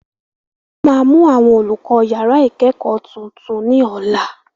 Wọ́n máa mú àwọn olùkọ́ yàrá ìkẹ́kọ̀ọ́ tuntun ní ọ̀la